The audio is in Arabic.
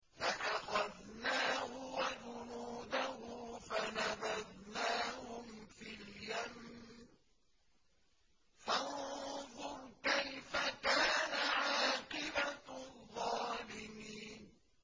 فَأَخَذْنَاهُ وَجُنُودَهُ فَنَبَذْنَاهُمْ فِي الْيَمِّ ۖ فَانظُرْ كَيْفَ كَانَ عَاقِبَةُ الظَّالِمِينَ